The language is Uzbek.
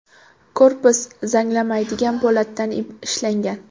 Korpus zanglamaydigan po‘latdan ishlangan.